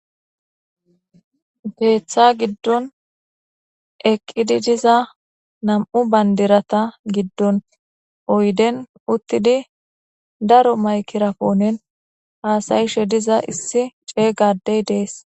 Geeththa giddon eqqidi diza nam'u bandirata giddon oyden uttidi daro maykiraponen haasayishe diza issi ceeygadey dees.